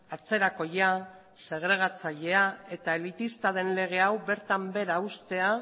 atzerakoia segregatzailea eta elitista den lege hau bertan behera uztea